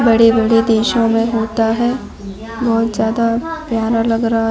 बड़े-बड़े देशों में होता है बहुत ज्यादा प्यारा लग रहा है।